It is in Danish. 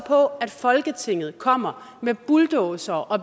at folketinget kommer med bulldozere og